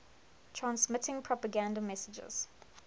transmitting propaganda messages